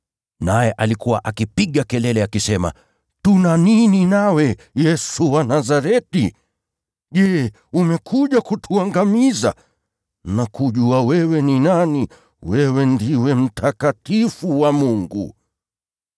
naye akapiga kelele akisema, “Tuna nini nawe, Yesu wa Nazareti? Je, umekuja kutuangamiza? Ninakujua wewe ni nani. Wewe ndiwe Aliye Mtakatifu wa Mungu!”